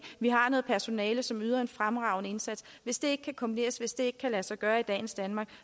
vi har noget personale som yder en fremragende indsats og hvis det ikke kan kombineres hvis det ikke kan lade sig gøre i dagens danmark